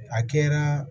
A kɛra